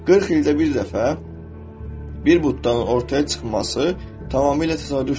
40 ildə bir dəfə bir buddanın ortaya çıxması tamamilə təsadüfdür.